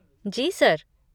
जी sir.